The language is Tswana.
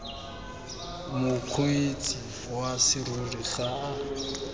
mokgweetsi wa serori ga a